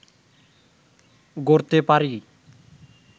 গড়তে পারি